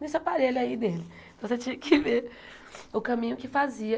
Nesse aparelho aí dele, você tinha que ver o caminho que fazia.